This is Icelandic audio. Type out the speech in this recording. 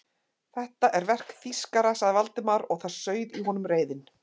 Þetta er verk þýskara sagði Valdimar og það sauð í honum reiðin.